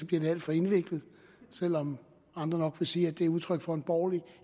bliver det alt for indviklet selv om andre nok vil sige at det er udtryk for en borgerlig